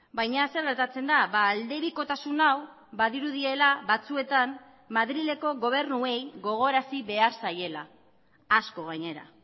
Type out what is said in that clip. baina zer gertatzen da aldebikotasun hau badirudiela batzuetan madrileko gobernuei gogorarazi behar zaiela asko gainera